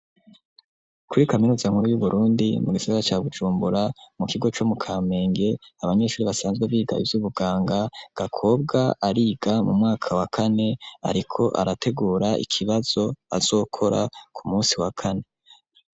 Kuri kaminuza nkuru y'uburundi mu gisaga cya gucumbura mu kigo cyo mu kampenge abanyeshuri basanzwe biga iz'ubuganga gakobwa ariga mu mwaka wa kane ariko arategura ikibazo azokora ku munsi wa kane.